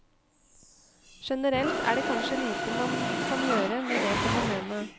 Generelt er det kanskje lite man kan gjøre med det fenomenet.